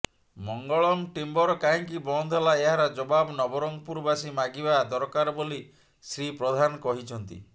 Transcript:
Mangalam Timber କାହିଁକି ବନ୍ଦ ହେଲା ଏହାର ଜବାବ ନବରଙ୍ଗପୁର ବାସୀ ମାଗିବା ଦରକାର ବୋଲି ଶ୍ରୀ ପ୍ରଧାନ କହିଛନ୍ତିା